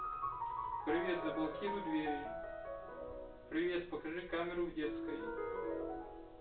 привет заблокируй двери привет покажи камеру в детской